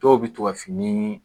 Dɔw bɛ to ka fini